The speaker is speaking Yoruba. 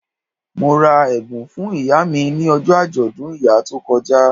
Mo ra ẹ̀bùn fún ìyá mi ni ọjọ́ àjọ̀dún ìyá tó kọjá